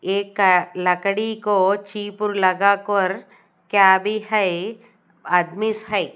एक लकड़ी को चिप लगा कोर क्या भी है आदमीस हैं।